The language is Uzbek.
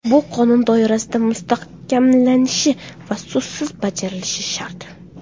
Bu qonun doirasida mustahkamlanishi va so‘zsiz bajarilishi shart.